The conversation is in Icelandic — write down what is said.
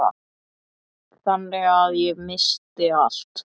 Þannig að ég missti allt.